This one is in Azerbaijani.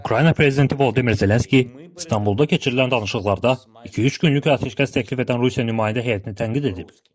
Ukrayna prezidenti Volodimir Zelenski İstanbulda keçirilən danışıqlarda iki-üç günlük atəşkəs təklif edən Rusiya nümayəndə heyətini tənqid edib.